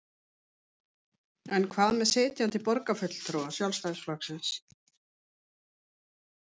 En hvað með sitjandi borgarfulltrúa Sjálfstæðisflokksins?